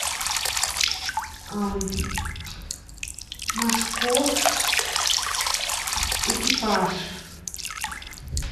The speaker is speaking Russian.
машков экипаж